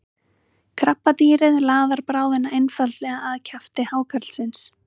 krabbadýrið laðar bráðina einfaldlega að kjafti hákarlsins